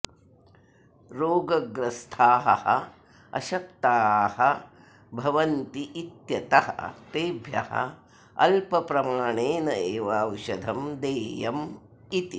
रोगग्रस्थाः अशक्ताः भवन्तीत्यतः तेभ्यः अल्पप्रमाणेनैव औषधं देयम् इति